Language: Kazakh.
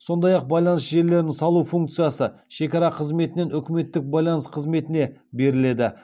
сондай ақ байланыс желілерін салу функциясы шекара қызметінен үкіметтік байланыс қызметіне беріледі